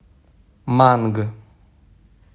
манг